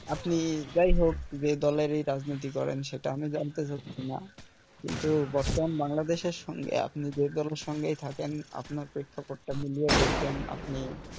আপনি যাইহোক যে দলেরই রাজনীতি করেন সেটা আমি জানতে চাচ্ছি না কিন্তু দেখেন বাংলাদেশের সঙ্গে আপনি যে দলের সঙ্গেই থাকেন আপনার প্রেক্ষাপটটা মিলিয়ে দেখবেন আপনি,